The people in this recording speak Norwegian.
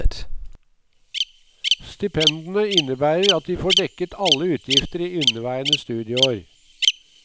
Stipendene innebærer at de får dekket alle utgifter i inneværende studieår.